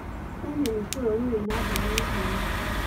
Kenya nĩ bũrũri wĩna andũ me hinya.